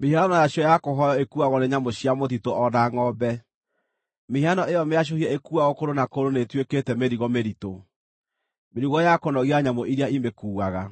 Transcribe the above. mĩhianano yacio ya kũhooywo ĩkuuagwo nĩ nyamũ cia mũtitũ o na ngʼombe. Mĩhianano ĩyo mĩacũhie ĩkuuagwo kũndũ na kũndũ nĩĩtuĩkĩte mĩrigo mĩritũ, mĩrigo ya kũnogia nyamũ iria imĩkuuaga.